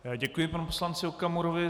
Děkuji panu poslanci Okamurovi.